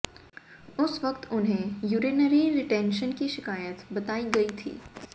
उस वक्त उन्हें यूरिनरी रिटेंशन की शिकायत बताई गई थी